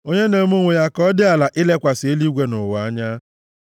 onye na-eme onwe ya ka ọ dị ala ilekwasị eluigwe na ụwa anya?